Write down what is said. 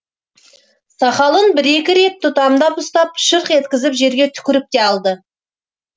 сақалын бір екі рет тұтамдап ұстап шырқ еткізіп жерге түкіріп те алды